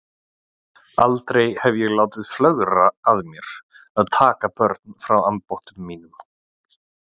Aldrei hef ég látið flögra að mér að taka börn frá ambáttum mínum.